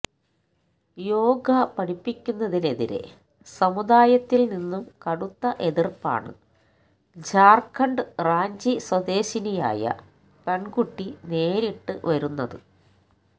യോഗ പഠിപ്പിക്കുന്നതിനെതിരെ സമുദായത്തില് നിന്നും കടുത്ത എതിര്പ്പാണ് ജാര്ഖണ്ഡ് റാഞ്ചി സ്വദേശിനിയായ പെണ്കുട്ടി നേരിട്ട് വരുന്നത്